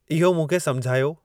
इहो मूंखे समुझायो